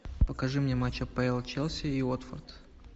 покажи мне матч апл челси и уотфорд